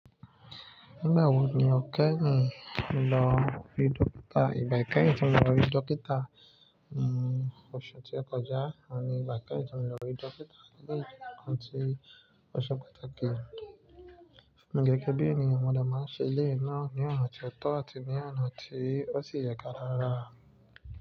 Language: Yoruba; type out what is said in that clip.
Nígbà wo ni ò kẹ́yin lọ rí dókítà? Ìgbà kẹ́yìn tí mo rí dókítà, ni oṣù tó kọjá. Ọ́un ni ìgbà kẹ́yìn tí mo lo rí dókítà ní nkán ti ọ̀sẹ̀ patakí. Gẹ́gẹ́ bí èniyàn, mo de máa ń ṣe iléyi náà ní ọ̀nà ti o tọ àti ní ọ̀nà tí ó sì yẹ ká rá.